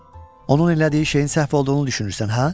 Onun elədiyi şeyin səhv olduğunu düşünürsən, hə?